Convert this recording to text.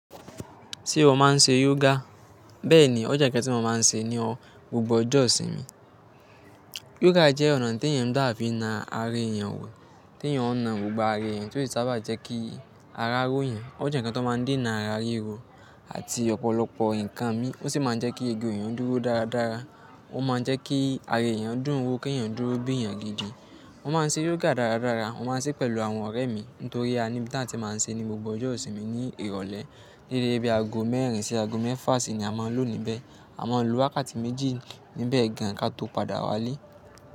Ṣé o máa ń ṣe yoga? Bẹ́ẹ̀ni, ó jẹ́ nǹkan tí mo máa ń ṣe ni o, gbogbo ọjọ́ ìsinmi. Yoga jẹ́ ọ̀nà tí èèyàn gba fi n na ara èèyàn wò, tí èèyàn ó na gbogbo ara èèyàn tí ó sì sábà n jẹ́ kí ara róoyan. Ó jẹ́ ǹkan tó máa ń dènà ara ríro àti ọ̀pọ̀lọpọ̀ nǹkan míi. Ó sì máa ń jẹ́ kí eegun èèyàn dúró dáradára. Ó máa ń jẹ́ kí ara èèyàn dùn wò, kéèyàn dúró bí èèyàn gidi. Mo máa ń ṣe yoga dáradára. Mo máa ń ṣe pẹ̀lú àwọn ọ̀rẹ́ mi nítorí a ni bí táa ti máa ń ṣe ní gbogbo ọjọ́ ìsinmi ní ìrọ̀lẹ́. Déédé bí aago mẹ́rin sí aago mẹ́fà sí ni a máa ń lọ níbẹ̀. A máa lo wákàtí méjì níbẹ̀ gan ká tó padà wálé.